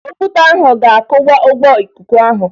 Okwute ahụ ga-akụwa mgbo ikuku ahụ